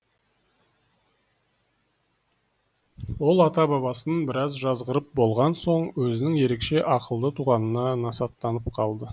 ол ата бабасын біраз жазғырып болған соң өзінің ерекше ақылды туғанына насаттанып қалды